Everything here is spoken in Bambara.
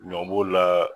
Ɲɔ b'o la